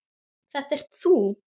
Þetta ert þú!